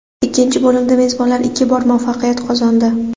Ikkinchi bo‘limda mezbonlar ikki bor muvaffaqiyat qozondi.